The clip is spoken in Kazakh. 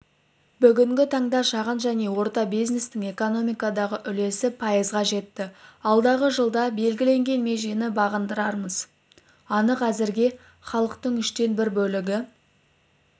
бүгінгі таңда шағын және орта бизнестің экономикадағы үлесі пайызға жетті алдағы жылда белгіленген межені бағындырарымыз анық әзірге халықтың үштен бір бөлігі